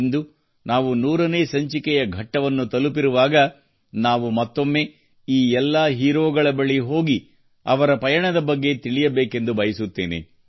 ಇಂದು ನಾವು 100 ನೇ ಸಂಚಿಕೆಯ ಘಟ್ಟವನ್ನು ತಲುಪಿರುವಾಗ ನಾವು ಮತ್ತೊಮ್ಮೆ ಈ ಎಲ್ಲಾ ಹೀರೋಗಳ ಬಳಿ ಹೋಗಿ ಅವರ ಪಯಣದ ಬಗ್ಗೆ ತಿಳಿಯಬೇಕೆಂದು ಬಯಸುತ್ತೇನೆ